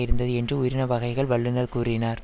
இருந்தது என்று உயிரின வகைகள் வல்லுனர் கூறினார்